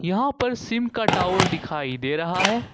यहाँ पर सिम का टावर दिखाई दे रहा है।